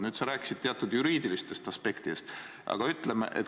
Nüüd, sa rääkisid teatud juriidilistest aspektidest.